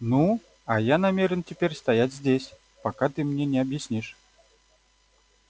ну а я намерен теперь стоять здесь пока ты мне не объяснишь